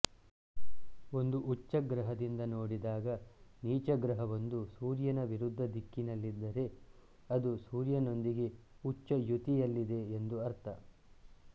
ಒಂದು ಉಚ್ಚ ಗ್ರಹದಿಂದ ನೋಡಿದಾಗ ನೀಚ ಗ್ರಹವೊಂದು ಸೂರ್ಯನ ವಿರುದ್ಧ ದಿಕ್ಕಿನಲ್ಲಿದ್ದರೆ ಅದು ಸೂರ್ಯನೊಂದಿಗೆ ಉಚ್ಚ ಯುತಿಯಲ್ಲಿದೆ ಎಂದು ಅರ್ಥ